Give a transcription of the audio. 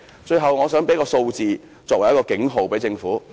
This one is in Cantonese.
最後，我想以一組數字作為給政府的警號。